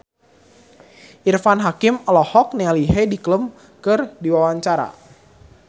Irfan Hakim olohok ningali Heidi Klum keur diwawancara